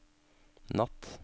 natt